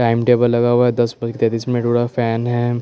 time table लगा हुआ हैं दस बजके तैतीस मिनट होरा हैं फेन हैं--